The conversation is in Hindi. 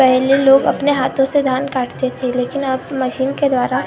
पहले लोग अपने हाथों से धान काटते थे लेकिन अब मशीन के द्वारा।